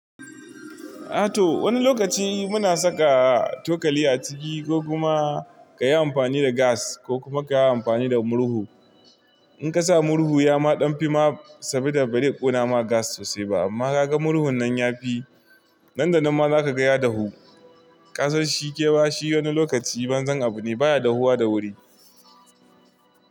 A to wani lokaci muna saka tokali a ciki ko kuma ka yi amfani da gas ko kuma ka yi amfani da murhu. In ka sa murhu ya ma ɗan fi ma saboda bai kona ma gas sosai ba amma ka ga murhun nan ya fi. Nan da nan ma za ka gaya dahu ƙasarshi ke bashi wani lokaci ban zan abu ne baya dahuwa da wuri.